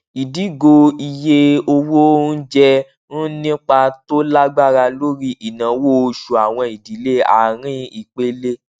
ìdígò iye owó onjẹ ń nípa tó lágbára lórí ináwó oṣù àwọn ìdílé arin ìpele